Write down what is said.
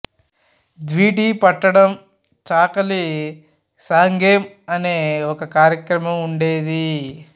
దీవిటి పట్టడం చాకలి సాంగెం అనే ఒక కార్యక్రమం వుండేది